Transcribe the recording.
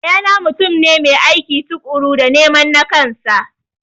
Yaya na mutum ne mai aiki tukuru dan neman nakansa